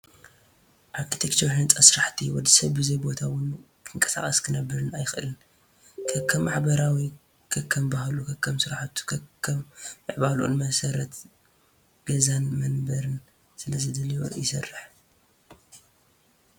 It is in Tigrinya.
ኣርክቴክቸርን ህንፃ ስራሕን፡- ወዲ ሰብ ብዘይ ቦታ ውን ክንቀሳቀስን ክነብርን ኣይኽእልን። ከከም ማሕበረሰቡ ፡ ከከም ባህሉ ፡ ከከም ስራሕቱ ፡ ከከም ምዕባለኡን መሰረት ገዛን መንበርን ስለ ዘድልዮ ይስርሕ፡፡